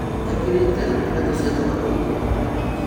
Ekĩrĩte iratũ cia thogora wa igũrũ